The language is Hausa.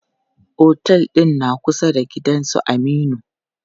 Otel ɗin na kusa da gidan su Aminu.